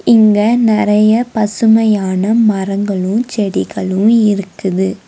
இங்க நெறைய பசுமையான மரங்களும் செடிகளும் இருக்குது.